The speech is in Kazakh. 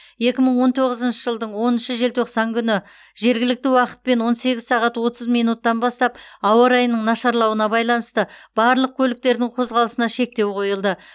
екі мың он тоғызыншы жылдың оныншы желтоқсан күні жергілікті уақытпен он сегіз сағат отыз минуттан бастап ауа райының нашарлауына байланысты барлық көліктердің қозғалысына шектеу қойылды